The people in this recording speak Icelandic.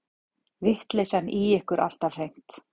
Vitleysan í ykkur alltaf hreint.